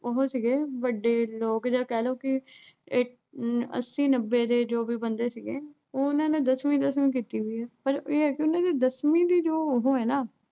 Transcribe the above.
ਉਹੋ ਸੀਗੇ ਵੱਡੇ ਲੋਕ ਜਾਂ ਕਹਿਲੋ ਵੀ ਅਹ ਅੱਸੀ-ਨੱਬੇ ਦੇ ਜੋ ਵੀ ਬੰਦੇ ਸੀਗੇ। ਉਨ੍ਹਾਂ ਨੇ ਦਸਵੀਂ ਦਸਵੀਂ ਕੀਤੀ ਹੋਈ ਐ। ਪਰ ਇਹ ਆ ਨਾ ਅਹ ਉਨ੍ਹਾਂ ਦੀ ਦਸਵੀਂ ਦੀ ਜੋ ਉਹੋ ਆ ਨਾ ਅਹ